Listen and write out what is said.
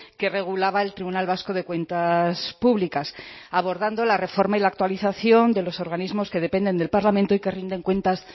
que regulaba el tribunal vasco de cuentas públicas abordando la reforma y la actualización de los organismos que dependen del parlamento y que rinden cuentas